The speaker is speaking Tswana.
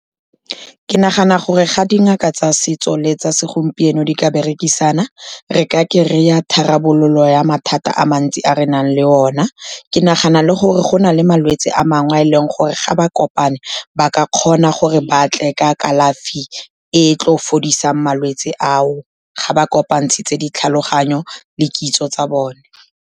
Ke nagana gore ga dingaka tsa setso le tsa segompieno di ka berekisana, re ka kry-a tharabololo ya mathata a mantsi a re nang le ona. Ke nagana le gore go na le malwetse a mangwe a e leng gore ga ba kopane, ba ka kgona gore batle ka kalafi e tlo fodisang malwetse ao, ga ba kopantshitse ditlhaloganyo le kitso tsa bone.